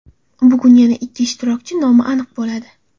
Bugun yana ikki ishtirokchi nomi aniq bo‘ladi.